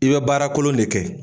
I bɛ baara kolon de kɛ